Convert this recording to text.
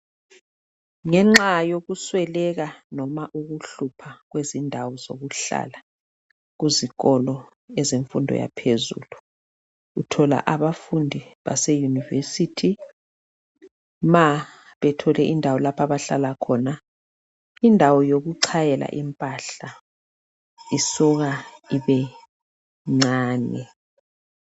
Ngenxa yokusweleka noma ukuhlupha kwezindawo zokuhlala kuzikolo ezemfundo yaphezulu. Uthola abafundi base university ma bethole indawo lapho abahlala khona, indawo yokuchayela impahla isuka ibe ncane